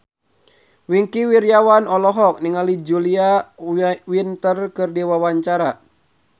Wingky Wiryawan olohok ningali Julia Winter keur diwawancara